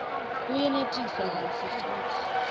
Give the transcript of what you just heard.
kuyenetisa kantsi futsi